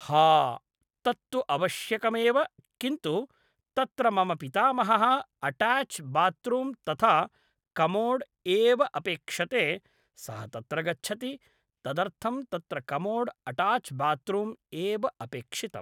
हा तत्तु अवश्यकमेव किन्तु तत्र मम पितामहः अटाच् बात्रूं तथा कमोड् एव अपेक्षते सः तत्र गच्छति तदर्थं तत्र कमोड् अटाच् बात्रूम् एव अपेक्षितं